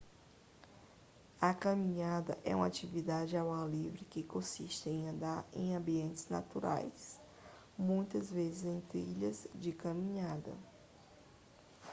a caminhada é uma atividade ao ar livre que consiste em andar em ambientes naturais muitas vezes em trilhas de caminhada